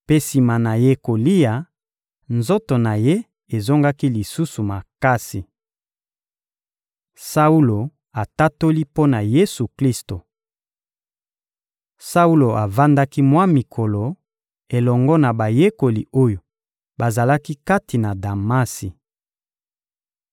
mpe, sima na ye kolia, nzoto na ye ezongaki lisusu makasi. Saulo atatoli mpo na Yesu-Klisto Saulo avandaki mwa mikolo elongo na bayekoli oyo bazalaki kati na Damasi.